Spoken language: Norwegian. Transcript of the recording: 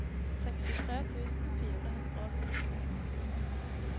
sekstitre tusen fire hundre og syttiseks